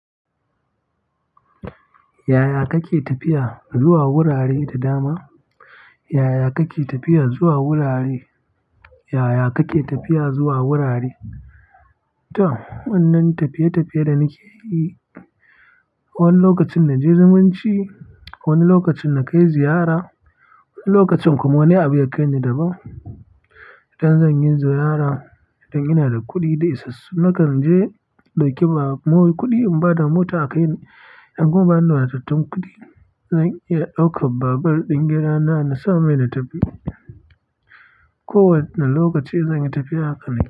Yaya kake tafiya zuwa wurare da dama? Yaya kake tafiya zuwa wurare? Yaya kake tafiya zuwa wurare? To, wannan tafiye-tafiye da nake yi, wani lokacin na je zumunci, wani lokacin na kai ziyara, wani lokacin kuma wani abu ya kai ni da ba. Idan zan yi ziyara, idan ina da kuɗi dai isassu, na kan je in ɗauki babur. Kuma kuɗin bada mota a kai ni, in kuma ba ni matattun kuɗi, zan iya ɗaukar babur ɗin gidana na sa mai na tafi. Ko wane lokaci zan yi tafiya haka nake yi.